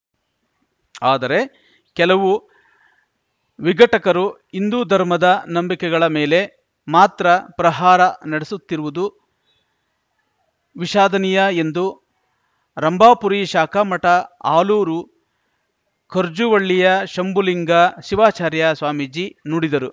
ಆದರೆ ಕೆಲವು ವಿಘಟಕರು ಹಿಂದೂ ಧರ್ಮದ ನಂಬಿಕೆಗಳ ಮೇಲೆ ಮಾತ್ರ ಪ್ರಹಾರ ನಡೆಸುತ್ತಿರುವುದು ವಿಶಾದನೀಯ ಎಂದು ರಂಭಾಪುರಿ ಶಾಖಾ ಮಠ ಆಲೂರು ಖರ್ಜುವಳ್ಳಿಯ ಶಂಭುಲಿಂಗ ಶಿವಾಚಾರ್ಯ ಸ್ವಾಮೀಜಿ ನುಡಿದರು